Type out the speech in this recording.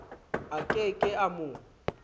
a ke ke a mo